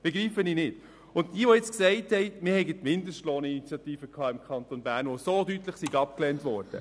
Und nun zu jenen, die sagen, die Mindestlohninitiative sei im Kanton Bern so deutlich abgelehnt worden: